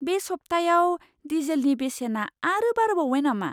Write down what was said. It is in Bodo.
बे सब्थायाव डिजेलनि बेसेना आरो बारायबावबाय नामा?